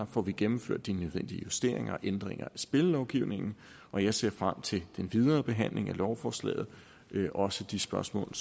får vi gennemført de nødvendige justeringer og ændringer af spillelovgivningen og jeg ser frem til den videre behandling af lovforslaget også de spørgsmål